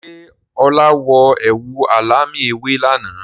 Ṣé ọ̀la wọ ẹ̀wù alámì ewé lànà?